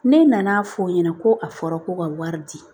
Ne nan'a fɔ o ɲɛna ko a fɔra ko ka wari di